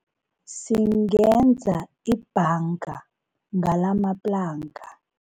Singenza ibhanga ngalamaplanka.